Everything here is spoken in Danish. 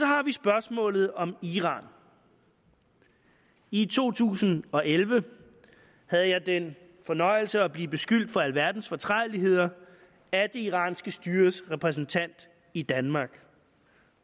har vi spørgsmålet om iran i to tusind og elleve havde jeg den fornøjelse at blive beskyldt for alverdens fortrædeligheder af det iranske styres repræsentant i danmark